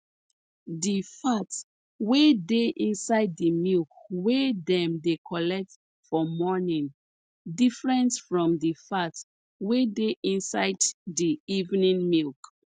di fat wey dey inside di milk wey dem dey collect for morning different from di fat wey dey inside di evening milk